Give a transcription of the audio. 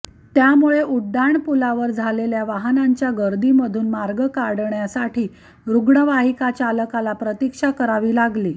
त्यामुळे उड्डाणपुलावर झालेल्या वाहनांच्या गर्दीमधून मार्ग काढण्यासाठी रूग्णवाहिका चालकाला प्रतिक्षा करावी लागली